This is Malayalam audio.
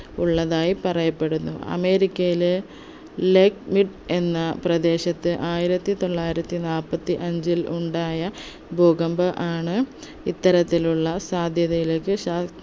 ഉള്ളതായി പറയപ്പെടുന്നു അമേരിക്കയിലെ ലേക്‌മിട് എന്ന പ്രദേശത്ത് ആയിരത്തിത്തൊള്ളായിരത്തി നാല്പത്തിഅഞ്ചിൽ ഉണ്ടായ ഭൂകമ്പം ആണ് ഇത്തരത്തിലുള്ള സാധ്യതയിലേക്ക് ശാ